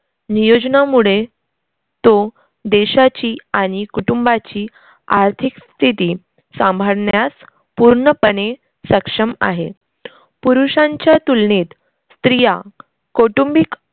नियोजनामुळे तो देशाची आणि कुटुंबाची आर्थिक स्थिती सांभाळण्यास पूर्णपणे सक्षम आहे. पुरुषांच्या तुलनेत, स्त्रिया कौटुंबिक